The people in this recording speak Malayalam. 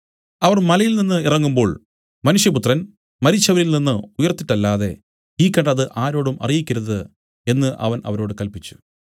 അവർ മലയിൽനിന്നു ഇറങ്ങുമ്പോൾ മനുഷ്യപുത്രൻ മരിച്ചവരിൽ നിന്നു ഉയിർത്തിട്ടല്ലാതെ ഈ കണ്ടത് ആരോടും അറിയിക്കരുത് എന്നു അവൻ അവരോട് കല്പിച്ചു